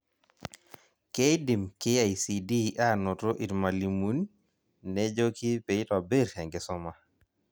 Keidim KICD anoto irmalimun nejoki peitobirr enkisuma